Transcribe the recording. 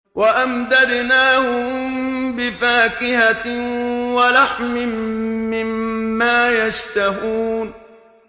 وَأَمْدَدْنَاهُم بِفَاكِهَةٍ وَلَحْمٍ مِّمَّا يَشْتَهُونَ